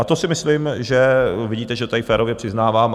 A to si myslím, že vidíte, že tady férově přiznávám.